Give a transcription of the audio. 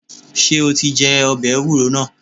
Ṣé o ti jẹ́ ọbẹ̀ ewúro náà?